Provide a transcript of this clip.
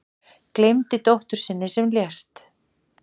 Gleymdi dóttur sinni sem lést